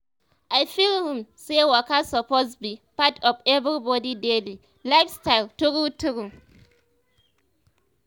i feel um say waka suppose be um part of everybody daily um lifestyle true true.